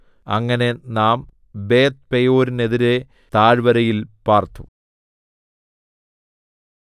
അങ്ങനെ നാം ബേത്ത്പെയോരിനെതിരെ താഴ്വരയിൽ പാർത്തു